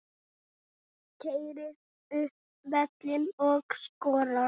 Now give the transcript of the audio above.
Keyrir upp völlinn og skorar.